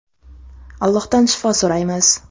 Allohdan shifo so‘raymiz.